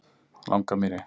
Langamýri